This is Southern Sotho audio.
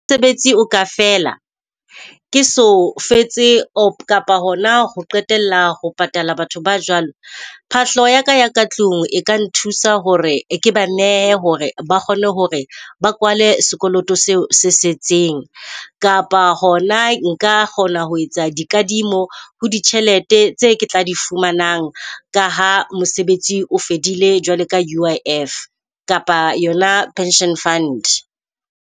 Mosebetsi o ka fela ke so fetse or kapa hona ho qetela ho patala batho ba jwalo. Phahlo ya ka ya ka tlung e ka nthusa hore ke banehe hore ba kgone hore ba kwale sekoloto seo se setseng. Kapa hona nka kgona ho etsa di kadimo ho di tjhelete tse ke tla di fumanang. Ka ha mosebetsi o fedile jwale ka U_I_F kapa yona pension fund.